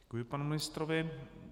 Děkuji panu ministrovi.